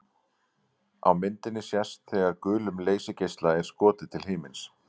Á myndinni sést þegar gulum leysigeisla er skotið til himins.